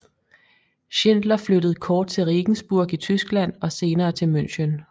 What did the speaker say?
Schindler flyttede kort til Regensburg i Tyskland og senere til München